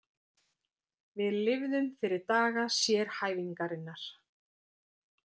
Við lifðum fyrir daga sérhæfingarinnar.